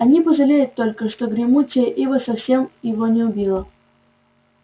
они пожалеют только что гремучая ива совсем его не убила